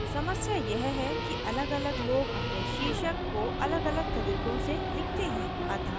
समस्या यह है कि अलगअलग लोग अपने शीर्षक को अलगअलग तरीकों से लिखते हैं